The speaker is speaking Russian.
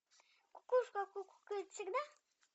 кукушка кукукает всегда